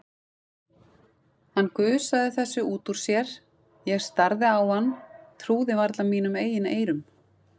Hann gusaði þessu út úr sér, ég starði á hann, trúði varla mínum eigin eyrum.